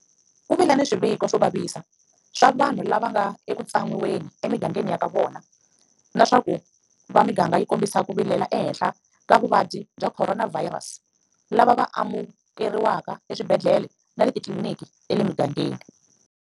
Ku vile na swiviko swo vavisa swa vanhu lava va nga eku tsan'wiweni emigangeni ya ka vona na swa ku va miganga yi kombisa ku vilela ehenhla ka vavabyi va khoronavhayirasi lava va amukeriwakaeswibedhlele na le titliliniki ta le migangeni.